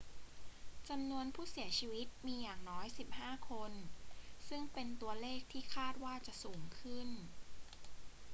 จำนวนผู้เสียชีวิตมีอย่างน้อย 15 คน ซึ่งเป็นตัวเลขที่คาดว่าจะสูงขึ้น